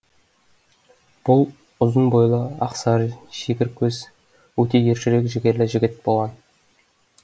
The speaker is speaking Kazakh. бұл ұзын бойлы ақ сары шегір көз өте ержүрек жігерлі жігіт болған